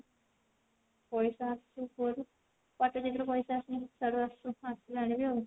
ପଇସା ଆସୁ କୁଆଡୁ ସ୍ୟାଡୁ ଆସୁ ଆସିଲେ ଆଣିବି ଆଉ